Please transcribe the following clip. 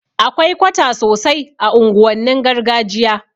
Akwai kwata sosai a unguwannin gargajiya